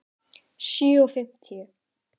sjö og fimmtíu?